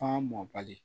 F'a mɔ bali